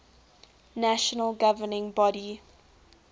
national governing body